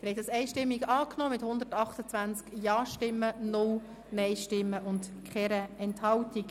Sie haben den Kredit einstimmig angenommen mit 128 Ja-, 0 Nein-Stimmen bei 0 Enthaltungen.